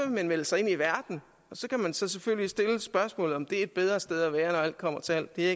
melde sig ind i verden og så kan man selvfølgelig stille det spørgsmål om det er et bedre sted at være når alt kommer til alt det er